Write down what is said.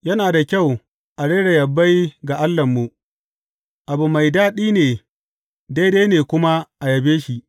Yana da kyau a rera yabai ga Allahnmu, abu mai daɗi ne daidai ne kuma a yabe shi!